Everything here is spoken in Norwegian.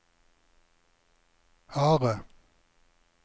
harde